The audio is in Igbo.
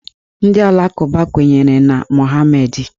Ndị ụka alakụba kwenyere na Mọhameedị.